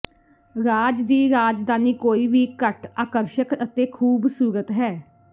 ਰਾਜ ਦੀ ਰਾਜਧਾਨੀ ਕੋਈ ਵੀ ਘੱਟ ਆਕਰਸ਼ਕ ਅਤੇ ਖੂਬਸੂਰਤ ਹੈ